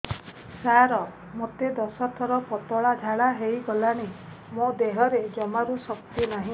ସାର ମୋତେ ଦଶ ଥର ପତଳା ଝାଡା ହେଇଗଲାଣି ମୋ ଦେହରେ ଜମାରୁ ଶକ୍ତି ନାହିଁ